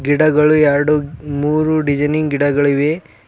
ಗಿಡಗಳು ಎರ್ಡು ಮೂರು ಡಿಸೈನಿಂಗ್ ಗಿಡಗಳಿವೆ.